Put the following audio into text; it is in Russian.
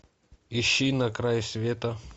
ищи на край света